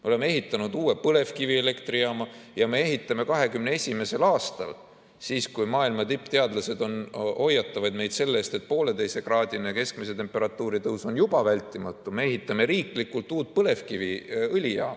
Me oleme ehitanud uue põlevkivielektrijaama ja me ehitame 2021. aastal – siis, kui maailma tippteadlased hoiatavad meid selle eest, et poolteisekraadine keskmise temperatuuri tõus on juba vältimatu – riiklikult uut põlevkiviõlijaama.